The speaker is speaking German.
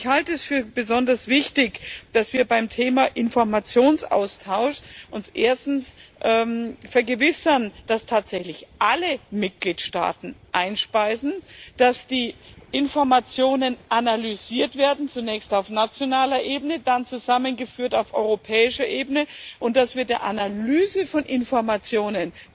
Ich halte es für besonders wichtig, dass wir uns erstens beim Thema Informationsaustausch vergewissern, dass tatsächlich alle Mitgliedstaaten Informationen einspeisen, dass die Informationen analysiert werden zunächst auf nationaler Ebene, dann zusammengeführt auf europäischer Ebene und dass wir der Analyse von Informationen